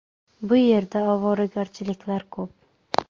Bu yerda ovoragarchiliklar ko‘p.